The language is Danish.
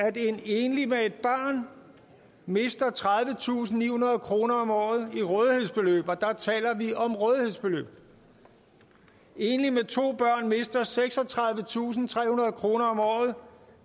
at en enlig med et barn mister tredivetusinde og nihundrede kroner om året i rådighedsbeløb der taler vi om rådighedsbeløb en enlig med to børn mister seksogtredivetusinde og trehundrede kroner om året